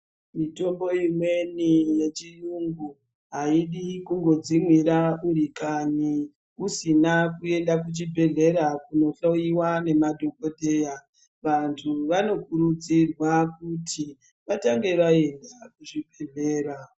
Mitombo imweni yechiyungu haisi kungodzimwira uri pakanyi usina kuenda kuchibhedhlera kundohloiwa ngemadhokodheya. Vantu vanokurudzirwa kuti vatange vaenda kuchibhedhleya